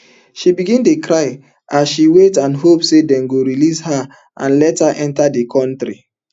she begin dey cry as she wait and hope say dem go release her and let enta di kontri